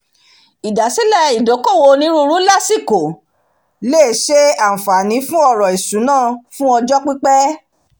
ìdasílẹ̀ ìdókòwó oniruuru lasikó lè ṣe ànfààni fún ọrọ̀ ìṣúná fun ọjọ́ pípẹ́